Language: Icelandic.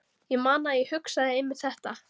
Ég man að ég hugsaði einmitt þetta.